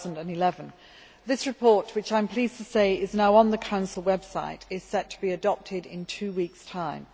2011. This report, which, I am pleased to say, is now on the Council website, is set to be adopted in two weeks' time.